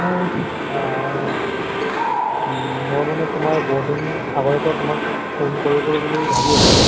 মানে আহ উম মই মানে তোমাক বহুদিন আগৰ পৰা তোমাক phone কৰো কৰো বুলি ভাবি আছিলো।